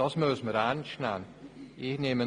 Das muss man ernst nehmen.